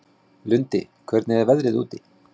Lundi, hvernig er veðrið úti?